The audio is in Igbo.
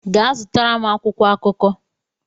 Gaa zụtara m akwụkwọ akụkọ!